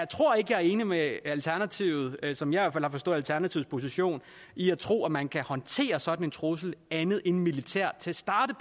tror ikke jeg er enig med alternativet i al fald som jeg har forstået alternativets position i at tro at man kan håndtere sådan en trussel andet end militært til at starte